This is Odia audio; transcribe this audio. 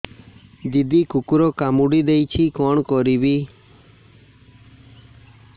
ଦିଦି କୁକୁର କାମୁଡି ଦେଇଛି କଣ କରିବି